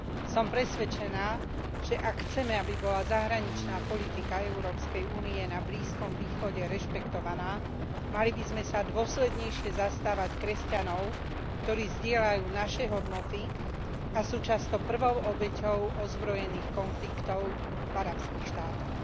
Som presvedčená, že ak chceme, aby bola zahraničná politika Európskej únie na Blízkom východe rešpektovaná, mali by sme sa dôslednejšie zastávať kresťanov, ktorí zdieľajú naše hodnoty a sú často prvou obeťou ozbrojených konfliktov v arabských štátoch.